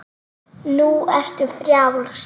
Nú ertu frjáls.